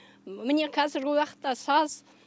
міне қазіргі уақытта саз